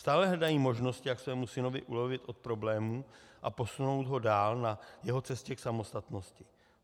Stále hledají možnosti, jak svému synovi ulevit od problémů a posunout ho dál na jeho cestě k samostatnosti.